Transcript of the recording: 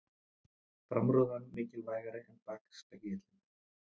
Framrúðan mikilvægari en bakspegillinn